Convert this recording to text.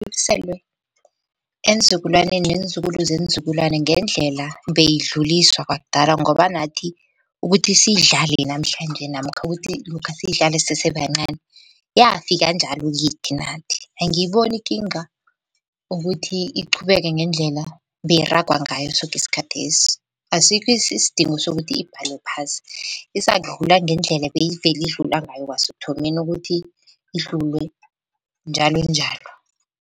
eenzukulwaneni neenzukulu zeenzukulwanae ngendlela beyidluliswa kwakudala ngoba nathi ukuthi siyidlale namhlanje namkha ukuthi namkha siyidlale sisesebancani yafika njalo kithi nathi. Angiyiboni ikinga ukuthi iqhubeke ngendlela beyiragwa ngayo soke isikhathi lesi. Asikho isidingo sokuthi ibhalwe phasi, izakudlula ngendlela beyivele idlula ngayo kwasekuthomeni ukuthi idlule njalonjalo.